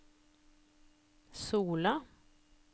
Sola